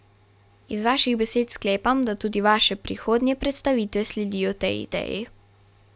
Iz vaših besed sklepam, da tudi vaše prihodnje predstavitve sledijo tej ideji.